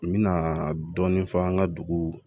N mɛna dɔɔnin fɔ an ka dugu